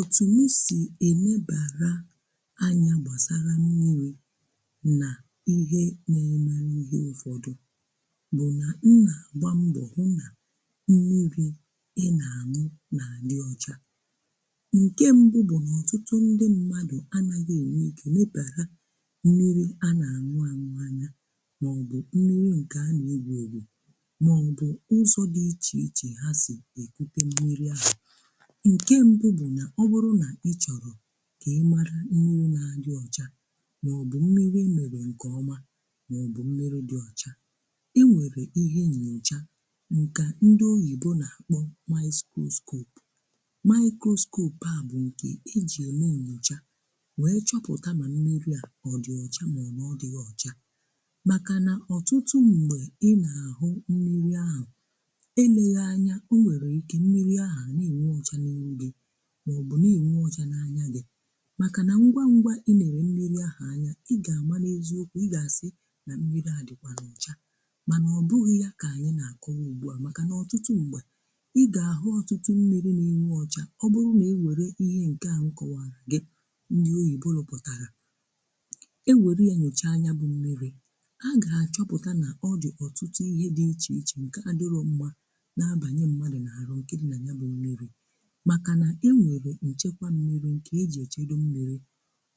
otù m sì enebara anya gbasara mmiri nà ihe na-eme n’ihe ụfọdụ bụ̀ nà nna gbaa mbọ̀ hụ na mmiri ị na-añụ nà a di ọcha. Nke mbụ bụ̀ na ọtụtụ ndị mmadụ̀ anaghị enwe ike nebara mmiri a na-àñụ àñụ anya, mọọ̀bụ̀ mmiri nke a na-egwù egwù, mọọbụ̀ ụzọ̀ dị iche ichè ha si ekute mmiri à. Nke mbụ bụ na ọ bụrụ nà ịchọ̀rọ̀ ka ị mara mmiri nà-adị ọchà maọ̀bụ̀ mmiri emerè nke ọmà maọ̀bụ̀ mmiri dị ọchà, enwere ihe nyochà nkà ndị oyibo nà-akpọ̀ miskroskop. Mikroskop a bụ̀ nke eji eme nyochà wee chọpụtà ma mmiri à ọ dị ọchà maọ̀bụ̀ ọ dịghị ọcha makà nà ọtụtụ ṁgbe ị nà-ahụ mmiri ahụ̀, eleghànyà, o nwere ike mmiri ahụ̀ na-enwú ọchà maọ̀bụ̀ na-enwú ọchà n’anya gị̀, makà na ngwa ngwa inere mmiri ahụ̀ anya ị ga-amaneziokwu, ị ga-asị̀ na mmiri adịkwànu ọcha. Ma na ọ bụghị̀ ya ka anyị̀ na-akọ̀wa ugbu à makà n’ọtụtụ ṁgbè, ị ga-ahụ̀ ọtụtụ mmiri na-enwú ọchà ọ bụrụ̀ na ewere ihe nke à nkọwàra gị̀ ndị oyìbo lụ̀pụtàrà e were yà nyochà nya bụ mmiri a ga-achọpụ̀tà nà ọdị̀ ọtụtụ ihe dị ichè ichè nke adịrọ̀ mmà na-abanye mmadụ̀ n’arụ̀ nke dị nà ya bụ̀ mmiri, maka na e nwere nchekwa mmiri nke ejì echedo mmiri.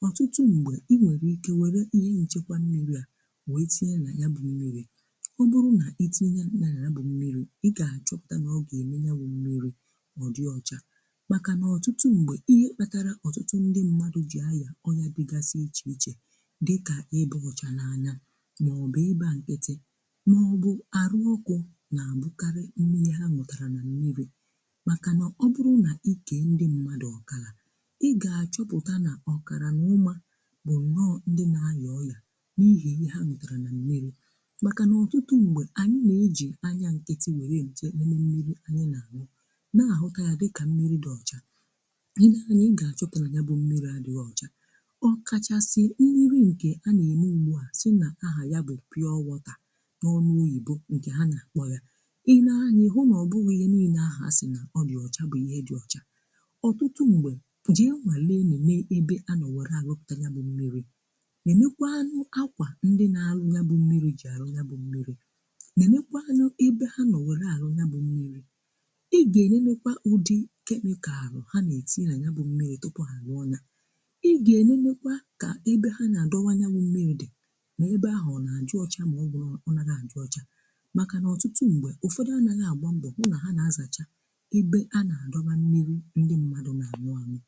Ọtụtụ mgbe i nwere ike nwere ihe nchekwa mmiri a wee tinye na ya bụ mmiri, ọ bụrụ na itinye ya na ya bụ mmiri i ga achọpụta na ọ ga-eme ya bụ mmiri ọ dị ọcha maka nà ọtụtụ mgbe ihe kpatara ọtụtụ ndị mmadụ jì áyà ọya dịgasị iche iche dịka ịba ọcha na-anya maọbụ ịba nkịtị maọbụ arụ ọkụ, na-abụkarị nri ha ñutara na mmiri maka na ọ bụrụ na ị kee ndị mmadu ọkala, ị ga-achọpụta nà ọkàrà n’ụmà bụ̀ nnọọ ǹdị na-ayà ọyà n’ihì ihe ha ñutàrà nà mmiri̇. Màkà nà ọtụtụ m̀gbè ànyị nà-ejì anya nkịtị wèrè eche mmiri anyị nà-àñụ, nà ahụta ya dịkà mmiri dị ọcha; ị nee anya ị ga-achọpụta nà ya bụ̇ mmiri àdịghị ọchȧ. Ọ kachasị mmiri ǹkè a nà-ème ugbu à sị nà ahà ya bụ̀ pịọwọtà, n'ọnụ oyìbo ǹkè ha nà kpọ̀ ya. Ị nee anya, ị hụ nà ọ bụghị̇ ihe níné ahu a sì nà ọ dị ọchȧ bụ̀ ihe dị ọchȧ. Ọtụtụ mgbe, pụje nwàlé néneé ebe anọ̀were àrụpụta ya bụ̀ mmiri; néné kwanụ ákwà ndị na-alụ ya bụ̀ mmiri jì àrụ ya bụ̀ mmiri, nénékwanụ ebe ha nọ̀wèrè àrụ ya bụ̀ mmiri, ị gà-ènénékwa ụdị kemịkaalu ha na-ètinye ya bụ̀ mmiri tupu àluọ ya. Ị gà-ènénékwa kà ebe ha nà-àdọwa ya bụ mmiri dị, na-ebe ahụ̀ ọ na-àdị ọcha maọ̀bụ̀ nọ ọnarọ a-àdị ọcha. Maka nà ọtụtụ m̀gbè ụ̀fọdụ anaghị àgba mbọ̀ fụ nà ha na-azàcha ebe a na-dọwa mmiri ndị mmadu na añu añu.